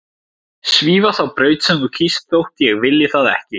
Svífa þá braut sem þú kýst þótt ég vilji það ekki.